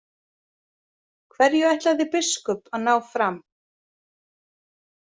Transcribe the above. Hverju ætlaði biskup að ná fram?